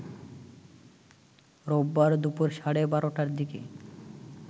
রোববার দুপুর সাড়ে ১২টার দিকে